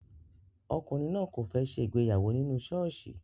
Ọkùnrin náà kò fẹ́ ṣe ìgbéyàwó nínú ṣọ́ọ̀ṣì